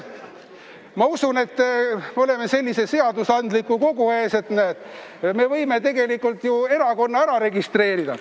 Ma usun, et kuna me oleme sellise seadusandliku kogu ees, siis me võime tegelikult erakonna ära registreerida.